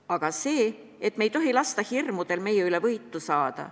Aga see, et me ei tohi lasta hirmudel enda üle võitu saada.